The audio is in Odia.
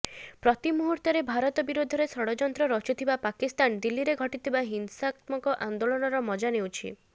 ପ୍ରତି ମୁହୂର୍ତ୍ତରେ ଭାରତ ବିରୋଧରେ ଷଡଯନ୍ତ୍ର ରଚୁଥିବା ପାକିସ୍ତାନ ଦିଲ୍ଲୀରେ ଘଟିଥିବା ହିଂସାତ୍ମକ ଆନ୍ଦୋଳନର ମଜା ନେଉଛି